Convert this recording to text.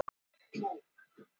Þýðing skráningar í hlutaskrá.